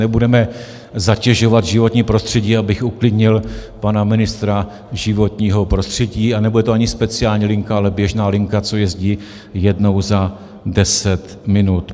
Nebudeme zatěžovat životní prostředí, abych uklidnil pana ministra životního prostředí a nebude to ani speciální linka, ale běžná linka, co jezdí jednou za deset minut.